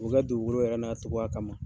dugukolo yɛrɛ n'a togoya kama.